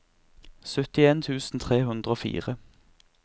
syttien tusen tre hundre og fire